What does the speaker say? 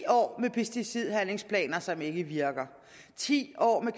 år med pesticidhandlingsplaner som ikke virker ti år med